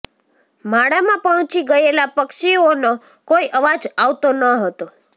માળામાં પહોચી ગયેલા પક્ષીઓ નો કોઈ અવાજ આવતો ન હતો